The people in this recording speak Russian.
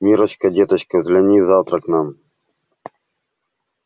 миррочка деточка загляни завтра к нам